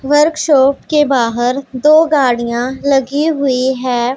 Workshop के बाहर दो गाड़ियां लगी हुई है।